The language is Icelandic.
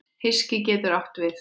Hyski getur átt við